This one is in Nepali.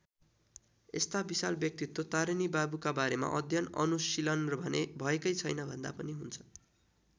यस्ता विशाल व्यक्तित्व तारिणी बाबुका बारेमा अध्ययन अनुशीलन भने भएकै छैन भन्दा पनि हुन्छ।